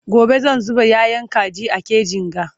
gobe zan zuba yayan kaji a kejin ga